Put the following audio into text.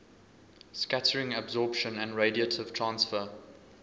scattering absorption and radiative transfer